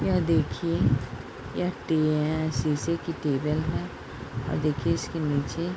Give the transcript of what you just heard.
यह देखिए यह टिये शीशे की टेबल है और देखिए इसके नीचे --